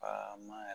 Aaama yɛrɛ